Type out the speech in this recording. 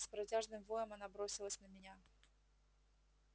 с протяжным воем она бросилась на меня